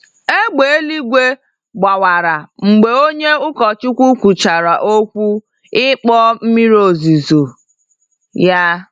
Égbè eluigwe gbawara mgbe onye ụkọchukwu kwuchara okwu ịkpọ mmiri ozuzo ya.